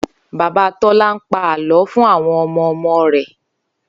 Bàbá Tó̩lá ń pa àló̩ fún àwo̩n o̩mo̩o̩mo̩ rè